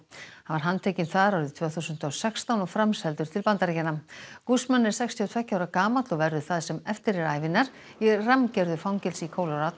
hann var handtekinn þar árið tvö þúsund og sextán og framseldur til Bandaríkjanna er sextíu og tveggja ára gamall og verður það sem eftir er ævinnar í fangelsi í